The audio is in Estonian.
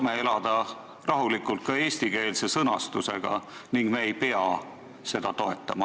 Me saame rahulikult elada ka eestikeelse sõnastusega ning me ei pea seda eelnõu toetama.